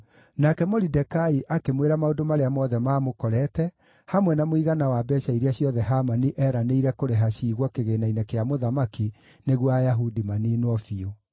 Nake Moridekai akĩmwĩra maũndũ marĩa mothe maamũkorete, hamwe na mũigana wa mbeeca iria ciothe Hamani eeranĩire kũrĩha ciigwo kĩgĩĩna-inĩ kĩa mũthamaki nĩguo Ayahudi maniinwo biũ.